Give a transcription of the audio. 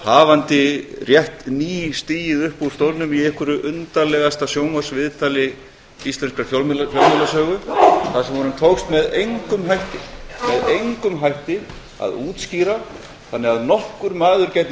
hafandi rétt ný stigið upp úr stólnum í einhverju undarlegasta sjónvarpsviðtali íslenskrar fjölmiðlasögu þar sem honum tókst með engum hætti að útskýra þannig að nokkur maður gæti